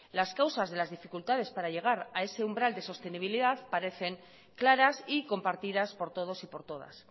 las causas de las dificultades para llegar a ese umbral de sostenibilidad parecen claras y compartidas por todos y por todas